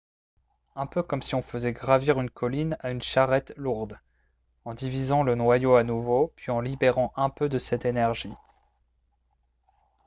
un peu comme si on faisait gravir une colline à une charrette lourde en divisant le noyau à nouveau puis en libérant un peu de cette énergie